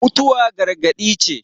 mutuwa gargadi ce